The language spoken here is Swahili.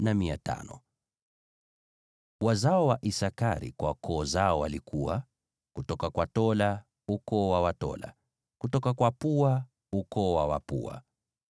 Wazao wa Isakari kwa koo zao walikuwa: kutoka kwa Tola, ukoo wa Watola; kutoka kwa Puva, ukoo wa Wapuva;